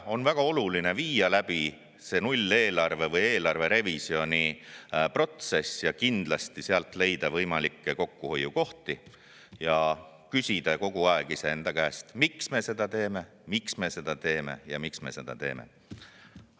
On väga oluline viia läbi see nulleelarve või eelarverevisjoni protsess ja sealt leida võimalikke kokkuhoiukohti ning kindlasti küsida enda käest kogu aeg: miks me seda teeme, miks me seda teeme ja miks me seda teeme?